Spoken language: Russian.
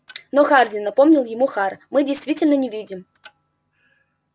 но хардин напомнил ему хар мы действительно не видим